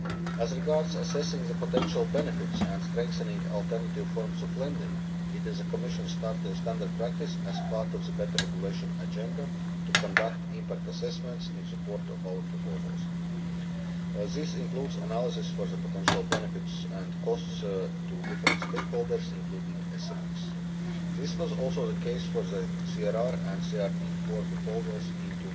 As regards assessing the potential benefits and strengthening alternative forms of lending, it is the Commission's standard practice as part of the Better Regulation Agenda to conduct impact assessments in support of our proposals. This includes an analysis of the potential benefits and costs to different stakeholders, including SMEs. This was also the case for the CRR and CRD IV proposals in